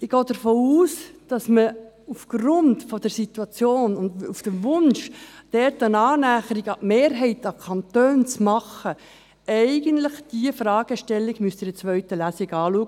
Ich gehe davon aus, dass man aufgrund der Situation und aufgrund des Wunschs, dort eine Annäherung an die Mehrheit der Kantone zu machen, diese Fragestellung eigentlich in einer zweiten Lesung anschauen müsste.